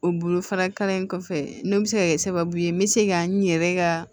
O bolofara kalan in kɔfɛ n'o bɛ se ka kɛ sababu ye n bɛ se ka n yɛrɛ ka